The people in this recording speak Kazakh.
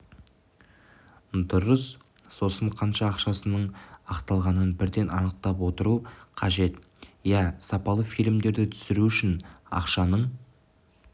дұрыс сосын қанша ақшаның ақталғанын бірден анықтап отыру қажет иә сапалы фильмдерді түсіру үшін ақшаның